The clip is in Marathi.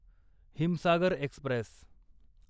हिमसागर एक्स्प्रेस